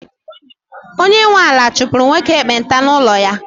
onye nwe ala chụpụrụ nwoke ekpenta n’ụlọ ya